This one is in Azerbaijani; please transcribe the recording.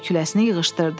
Şələ-kürəsini yığışdırdı.